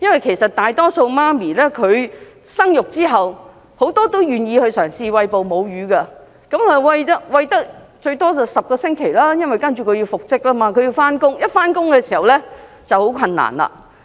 其實大多數母親在生育後也願意嘗試餵哺母乳，但最多只能餵哺10星期，接着便要復職上班，一旦上班便很難繼續餵哺母乳。